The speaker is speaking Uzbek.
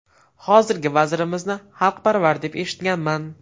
Hozirgi vazirimizni xalqparvar, deb eshitganman.